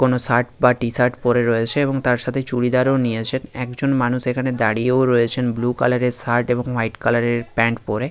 কোনো শার্ট বা T shirt পরে রয়েছে এবং তারসাথে চুড়িদার ও নিয়েছেন একজন মানুষ এখানে দাঁড়িয়েও রয়েছেন বুলু কালারের শার্ট এবং হোয়াইট কালারের প্যান্ট পরে.